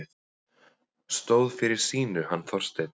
Stóð fyrir sínu, hann Þorsteinn.